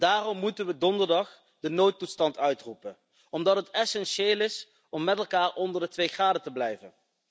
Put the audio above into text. Daarom moeten we donderdag de noodtoestand uitroepen, omdat het essentieel is om met elkaar onder de 2 graden te blijven.